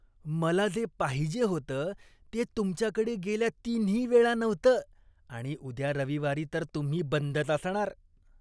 मला जे पाहिजे होतं ते तुमच्याकडे गेल्या तिन्हीवेळा नव्हतं आणि उद्या रविवारी तर तुम्ही बंदच असणार.